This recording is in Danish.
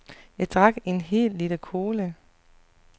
Jeg drak en hel liter cola.